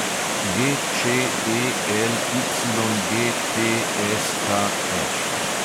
GČELYGTSKŠ